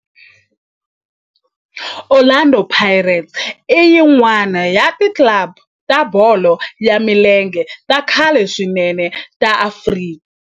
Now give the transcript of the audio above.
Orlando Pirates i yin'wana ya ti club ta bolo ya milenge ta khale swinene ta Afrika